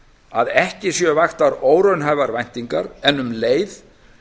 að ekki séu vaktar óraunhæfar væntingar en um leið